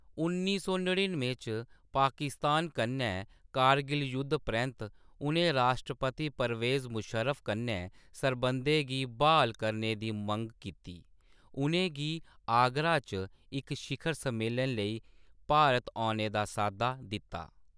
उन्नी सौ नड़िन्नुएं च पाकिस्तान कन्नै कारगिल युद्ध परैंत्त, उ'नें राश्ट्रपति परवेज़ मुशर्रफ कन्नै सरबंधें गी ब्हाल करने दी मंग कीती, उ'नें गी आगरा च इक शिखर सम्मेलन लेई भारत औने दा साद्दा दित्ता।